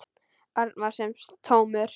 Örn var sem tómur.